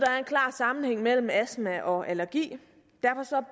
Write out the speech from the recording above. klar sammenhæng mellem astma og allergi